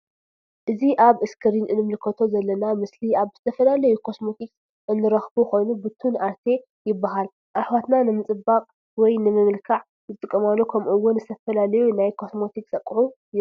እዚ ኣብ እስክሪን እንምልከቶ ዘልውና ምስሊ ኣብ ዝተፈላለዩ ኮስሞቴክስ እንረክቦ ኮይኑ ቡቱን ኣርቲ ይብሃል። እሕዋትና ንምጽባቅ ወይ ንምምልካዕ ዝጥቀማሉ ከመኡ እውን ዝተፈላለዩ ናይ ኮስሞቴክስ ኣቅሑ ይርከቡ።